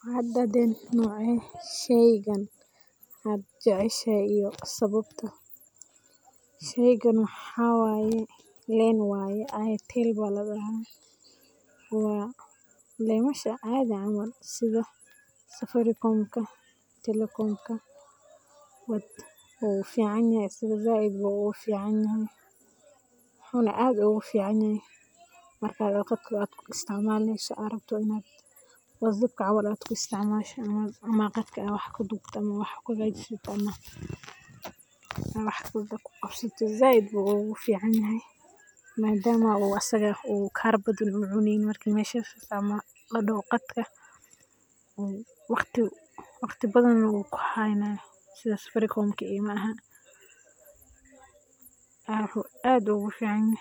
Waxadahteen nocee sheeygan, waxajeceshaya iyo sawabtaa. Sheeygan waxawaye lein waye Airtel wa lemasha caadi camal setha safaricom ka Telekom ka wuficanyahay asaga saait ayu u ficanyahay, waxana aad ugu ficanyahay marka Qadka ku isticmali AA rabtoh ni WhatsApp caml AA gashoh amah Qadka AA wax kadobtoh wax kuhakajisoh wax kuqabsatoh saait ayu uguficanyhay, madama asaga kaar badan oo cuneynin, marka meshasi kuisticmashoh ladahoo Qadka wadi bathana wukuhaynaya setha safaricomka maaha waxu aad ugaficanya